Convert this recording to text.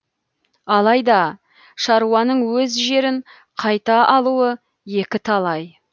алайда шаруаның өз жерін қайта алуы екіталай